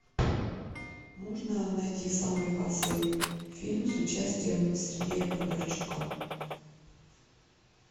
можно найти самый кассовый фильм с участием сергея бондарчука